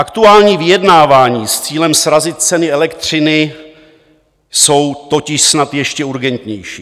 Aktuální vyjednávání s cílem srazit ceny elektřiny jsou totiž snad ještě urgentnější.